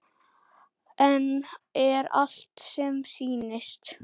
En er allt sem sýnist?